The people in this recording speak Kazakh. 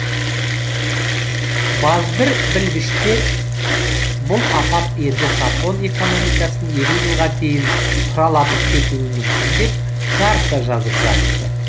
базбір білгіштер бұл апат енді жапон экономикасын елу жылға дейін тұралатып кетуі мүмкін деп жарыса жазып жатты